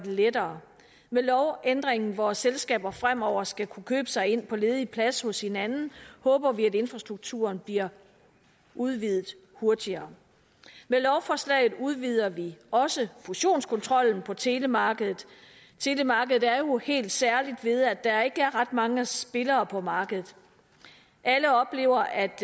lettere med lovændringen hvor selskaber fremover skal kunne købe sig ind på ledig plads hos hinanden håber vi at infrastrukturen bliver udvidet hurtigere med lovforslaget udvider vi også fusionskontrollen på telemarkedet telemarkedet er jo helt særligt ved at der ikke er ret mange spillere på markedet alle oplever at